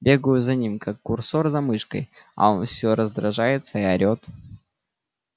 бегаю за ним как курсор за мышкой а он все раздражается и орет